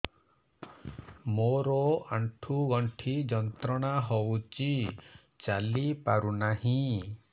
ମୋରୋ ଆଣ୍ଠୁଗଣ୍ଠି ଯନ୍ତ୍ରଣା ହଉଚି ଚାଲିପାରୁନାହିଁ